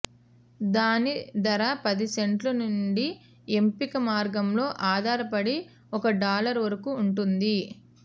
దాని ధర పది సెంట్లు నుండి ఎంపిక మార్గంలో ఆధారపడి ఒక డాలర్ వరకు ఉంటుంది